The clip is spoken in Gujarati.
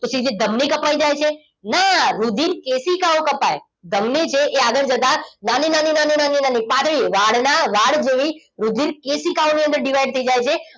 તો સીધી ધમની કપાઈ જાય છે ના રુધિર કેશિકાઓ કપાય ધમની જે આગળ જતા નાની નાની નાની નાની વાળના વાળ જેવી સુધી કેશિકાઓની અંદર divide થઈ જાય છે